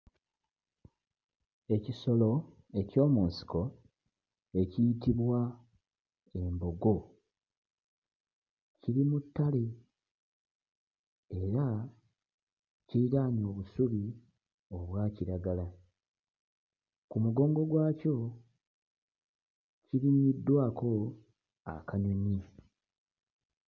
Ekisolo eky'omu nsiko ekiyitibwa embogo kiri mu ttale era kiriraanye obusubi obwa kiragala. Ku mugongo gwakyo kirinnyiddwako akanyonyi.